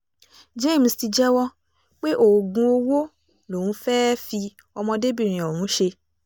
james sì jẹ́wọ́ pé oògùn owó lòun fẹ́ẹ́ fi ọmọdébìnrin ọ̀hún ṣe